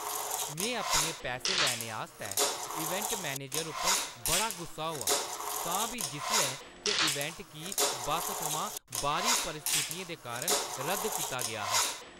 में अपने पैसे लैने आस्तै इवेंट मैनेजर उप्पर बड़ा गुस्से होआ, तां बी जिसलै के इवेंट गी बस थमां बाह्‌री परिस्थितियें दे कारण रद्द कीता गेआ हा।